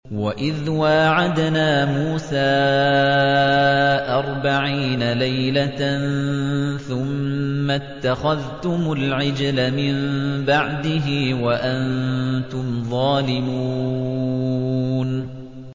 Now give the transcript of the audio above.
وَإِذْ وَاعَدْنَا مُوسَىٰ أَرْبَعِينَ لَيْلَةً ثُمَّ اتَّخَذْتُمُ الْعِجْلَ مِن بَعْدِهِ وَأَنتُمْ ظَالِمُونَ